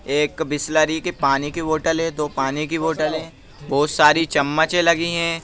एक बिसलरी की पानी की बोटल है दो पानी की बोटल है बहुत सारी चम्मचें लगी हैं ।